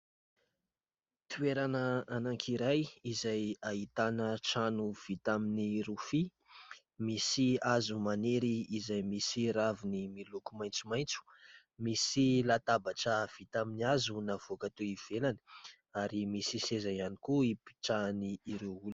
Toerana anankiray izay ahitana trano vita amin'ny rofia. Misy hazo maniry izay misy raviny miloko maitsomaitso, Misy latabatra vita tamin'ny hazo navoaka teo ivelany ary misy seza ihany koa hipetrahan'ireo olona.